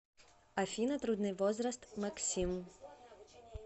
афина трудный возраст максим